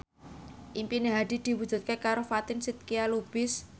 impine Hadi diwujudke karo Fatin Shidqia Lubis